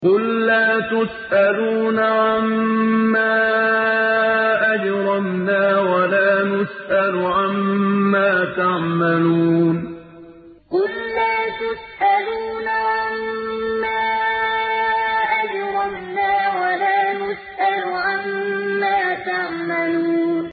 قُل لَّا تُسْأَلُونَ عَمَّا أَجْرَمْنَا وَلَا نُسْأَلُ عَمَّا تَعْمَلُونَ قُل لَّا تُسْأَلُونَ عَمَّا أَجْرَمْنَا وَلَا نُسْأَلُ عَمَّا تَعْمَلُونَ